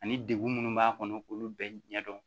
Ani degun minnu b'a kɔnɔ k'olu bɛɛ ɲɛdɔn